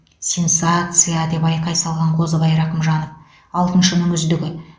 сенсация а а а деп айқай салған қозыбай рақымжанов алтыншының үздігі